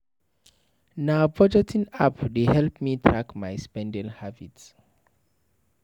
Na budgeting app dey help me track my spending habit.